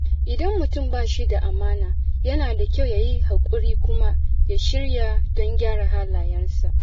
Idan mutum ba shi da amana, yana da kyau ya yi haƙuri kuma ya shirya don gyara halayyarsa.